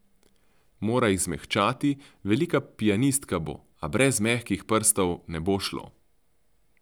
Mora jih zmehčati, velika pianistka bo, a brez mehkih prstov ne bo šlo!